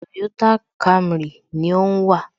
Toyota Camry ni ó ń wà